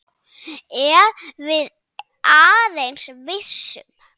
Ef við aðeins vissum.